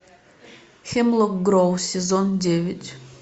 хемлок гроув сезон девять